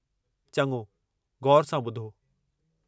चङो, ग़ौरु सां ॿुधो।